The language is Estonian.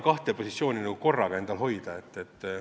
... kahel positsioonil korraga olla.